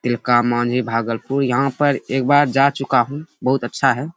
तिलकामांझी भागलपुर। यहाँ पर एक बार जा चुका हूँ बहुत अच्छा है।